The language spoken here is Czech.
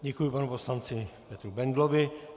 Děkuji panu poslanci Petru Bendlovi.